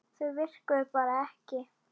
Þau virkuðu bara ekki.